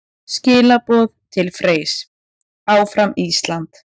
Skilaboð til Freys: Áfram Ísland!